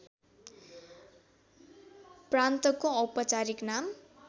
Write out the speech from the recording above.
प्रान्तको औपचारिक नाम